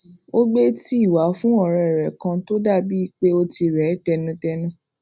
ó gbe tíì wá fún òré rè kan tó dà bíi pé ó ti rè é tẹnutẹnu